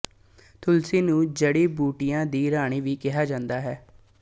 ਤੁਲਸੀ ਨੂੰ ਜੜ੍ਹੀਆਂ ਬੂਟੀਆਂ ਦੀ ਰਾਣੀ ਵੀ ਕਿਹਾ ਜਾਂਦਾ ਹੈ